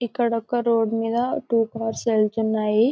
ఇక్కడ ఒక రోడ్ మీద టూ కార్స్ వెళ్తున్నాయి.